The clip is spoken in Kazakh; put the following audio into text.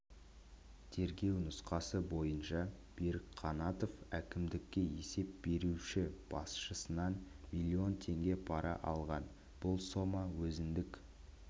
тергеу нұсқасы бойынша берік қанатов әкімдікке есеп беруші басшысынан миллион теңге пара алған бұл сома өзіндік